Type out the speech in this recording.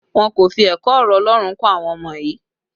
Wọn kò fi ẹ̀kọ́ ọ̀rọ̀ Ọlọ́run kọ́ àwọn ọmọ yii